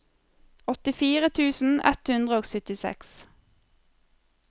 åttifire tusen ett hundre og syttiseks